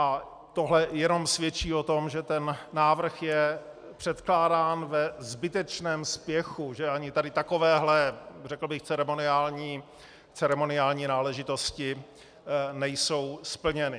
A tohle jenom svědčí o tom, že ten návrh je předkládán ve zbytečném spěchu, že ani tady takovéhle, řekl bych, ceremoniální náležitosti nejsou splněny.